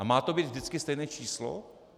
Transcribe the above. A má to být vždycky stejné číslo?